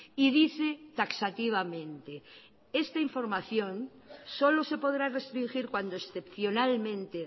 y dice taxativamente esta información solo se podrá restringir cuando excepcionalmente